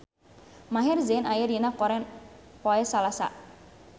Maher Zein aya dina koran poe Salasa